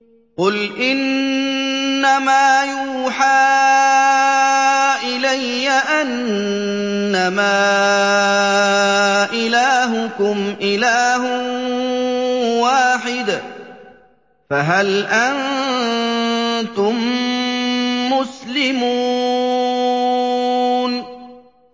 قُلْ إِنَّمَا يُوحَىٰ إِلَيَّ أَنَّمَا إِلَٰهُكُمْ إِلَٰهٌ وَاحِدٌ ۖ فَهَلْ أَنتُم مُّسْلِمُونَ